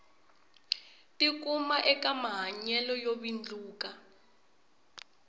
tikuma eka mahanyelo yo vindluka